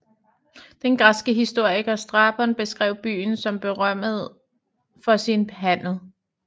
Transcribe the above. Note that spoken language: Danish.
Den græske historiker Strabon beskrev byen som berømmet for sin handel